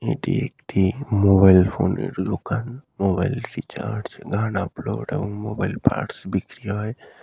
এটি একটি মোবাইল ফোনের দোকান মোবাইল রিচার্জ গান আপলোড এবং মোবাইল পার্টস বিক্রি হয়।